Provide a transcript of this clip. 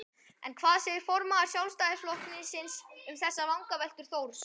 En hvað segir formaður Sjálfstæðisflokksins um þessar vangaveltur Þórs?